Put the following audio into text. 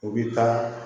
U bɛ taa